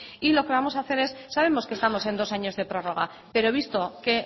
y lo que vamos a hacer es sabemos que estamos en dos años de prórroga pero visto que